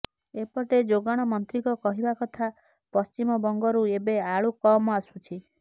ଏପଟେ ଯୋଗାଣ ମନ୍ତ୍ରୀଙ୍କ କହିବା କଥା ପଶ୍ଚିମବଙ୍ଗରୁ ଏବେ ଆଳୁ କମ ଆସୁଛି